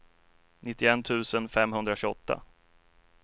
nittioett tusen femhundratjugoåtta